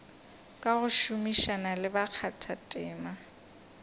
ka go šomišana le bakgathatema